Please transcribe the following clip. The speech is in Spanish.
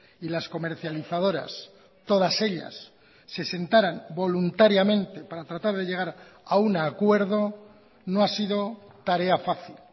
y las comercializadoras todas ellas se sentaran voluntariamente para tratar de llegar a un acuerdo no ha sido tarea fácil